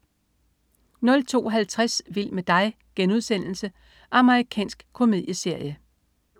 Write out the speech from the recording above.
02.50 Vild med dig.* Amerikansk komedieserie